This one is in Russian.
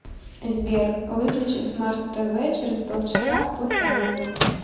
сбер выключи смарт тв через полчаса по таймеру